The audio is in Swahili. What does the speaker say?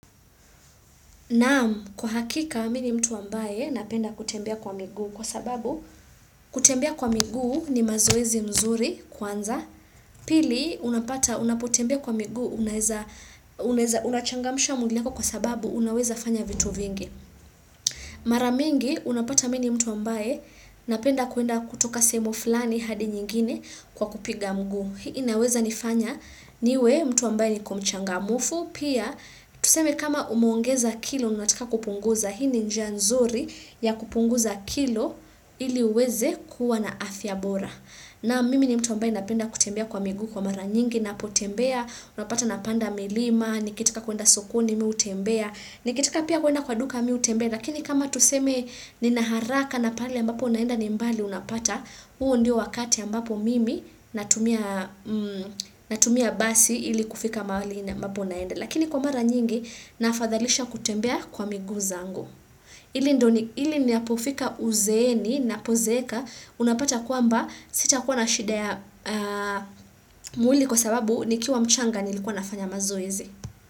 Na'am, kwa hakika, mimi ni mtu ambaye napenda kutembea kwa miguu kwa sababu, kutembea kwa miguu ni mazoezi mzuri kwanza, pili, unapata, unapotembea kwa miguu unaweza, unachangamsha mwili yako kwa sababu unaweza fanya vitu vingi. Mara mingi, unapata mimi ni mtu ambaye napenda kuenda kutoka sehemu fulani hadi nyingine kwa kupiga mguu. Inaweza nifanya niwe mtu ambaye niko mchangamfu, pia tuseme kama umeongeza kilo unataka kupunguza, hii ni njia nzuri ya kupunguza kilo ili uweze kuwa na afya bora. Na'am, mimi ni mtu ambaye napenda kutembea kwa miguu kwa mara nyingi, napotembea, unapata napanda milima, nikitaka kuenda sokoni, mimi hutembea, nikitaka pia kuenda kwa duka, mimi hutembea, lakini kama tuseme nina haraka na pale ambapo naenda ni mbali unapata, huo ndio wakati ambapo mimi natumia natumia basi ili kufika mahali ambapo naenda. Lakini kwa mara nyingi naafadhalisha kutembea kwa miguu zangu. Ili ninapofika uzeeni napozeeka, unapata kwamba sitakuwa na shida ya mwili kwa sababu nikiwa mchanga nilikuwa nafanya mazoezi.